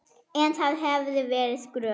En það hefði verið skrök.